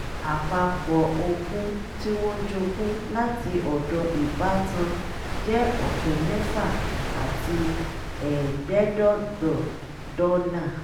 àpapọ̀ ogún tí wọ́n jogún láti ọ̀dọ̀ ìbátan jẹ́ ọ̀kẹ́ mẹ́fà àti ẹgbẹ̀ẹ́dọ́gbọ̀n dọ́là